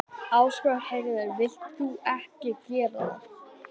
Ásgeir Heiðar: Vilt þú ekki gera það?